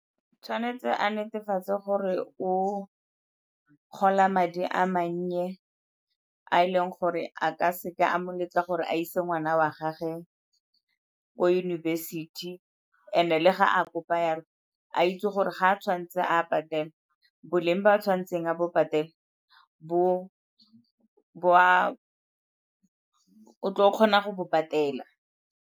Tshwanetse a netefatse gore o gola madi a mannye a e leng gore a ka seka a mo letla gore a ise ngwana wa gagwe ko yunibesithi and-e le ga a kopa yalo a itse gore ga a tshwanetse a a patele, boleng bo a tshwanetseng a bo patela o tlo kgona go bo patela.